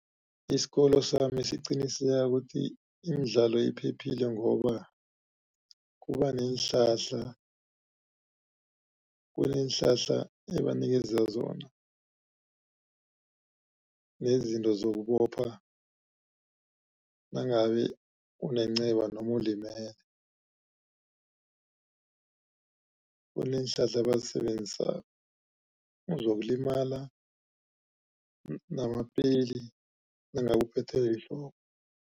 Isikolo sami siqiniseka ukuthi imidlalo iphephile. Ngoba kubaneenhlahla kuneenhlahla ebanikeza zona nezinto zokubopha nangabe unenceba noma ulimele. Kuneenhlahla abazisebenzisako uzokulimala namapeli nangabe uphethwe yihloko.